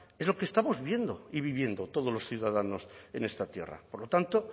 es lo que estamos viendo y viviendo todos los ciudadanos en esta tierra por lo tanto